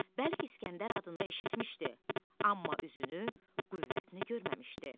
Bəlk İskəndər adını eşitmişdi, amma üzünü qüvvətini görməmişdi.